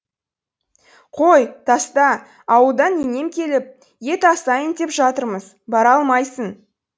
қой таста ауылдан енем келіп ет асайын деп жатырмыз бара алмайсын